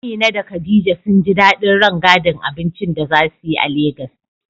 Amina da Khadija sun ji dadin rangadin abincin da za su yi a Legas.